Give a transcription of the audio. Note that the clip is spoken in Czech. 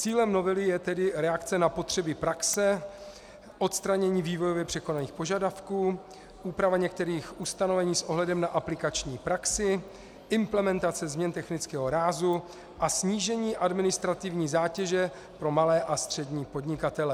Cílem novely je tedy reakce na potřeby praxe, odstranění vývojově překonaných požadavků, úprava některých ustanovení s ohledem na aplikační praxi, implementace změn technického rázu a snížení administrativní zátěže pro malé a střední podnikatele.